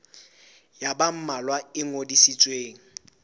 ya ba mmalwa e ngodisitsweng